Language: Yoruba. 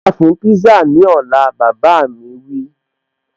Ọ́dà fún pízá ní ọ̀la, bàbá a mi wí